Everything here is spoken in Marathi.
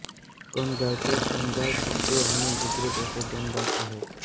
कोंडगावचे कोंडगाव खुर्द आणि बुद्रुक असे दोन भाग आहेत